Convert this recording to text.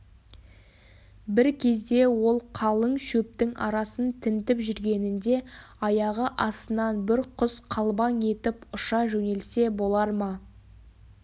бір кезде ол қалың шөптің арасын тінтіп жүргенінде аяғы астынан бір құс қалбаң етіп ұша жөнелсе болар ма